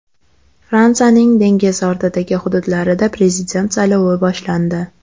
Fransiyaning dengiz ortidagi hududlarida prezident saylovi boshlandi.